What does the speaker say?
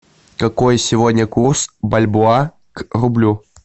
какой сегодня курс бальбоа к рублю